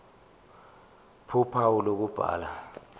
ph uphawu lokubhala